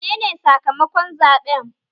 Menene sakamakon zaɓen?